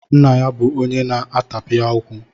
Nna ya bụ onye na-atapịa okwu.